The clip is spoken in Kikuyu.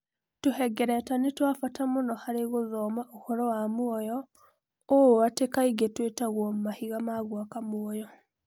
Tũhengereta nĩ twa bata mũno harĩ gũthoma ũhoro wa muoyo, ũũ atĩ kaingĩ twĩtagwo "mahiga ma gwaka muoyo".